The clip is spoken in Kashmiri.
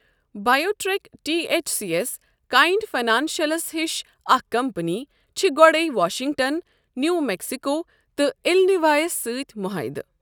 بایو ٹرٛیک ٹی ایچ سی یس، کایِنٛڈ فاینانشلس ہِش اکھ کمپنی، چھِ گۄڈَے واشِنگٹن، نیوٗ میکسِکو، تہٕ اِلِنوایس سۭتۍ مُعاہدٕ۔